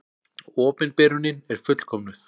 Opinberunin er fullkomnuð.